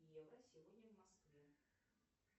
евро сегодня в москве